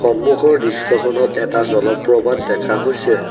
সন্মুখত দৃশ্যখনত এটা জলপ্ৰপাত দেখা হৈছে।